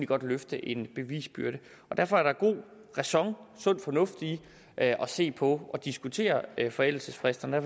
godt løfte en bevisbyrde og derfor er der god ræson sund fornuft i at se på at diskutere forældelsesfrister